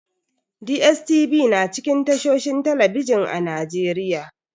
DSTV na cikin tashohin talbijin a Najeriya.